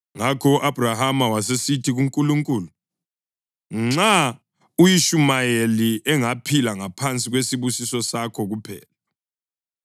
Ngakho u-Abhrahama wasesithi kuNkulunkulu, “Nxa u-Ishumayeli engaphila ngaphansi kwesibusiso sakho kuphela!”